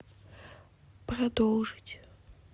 продолжить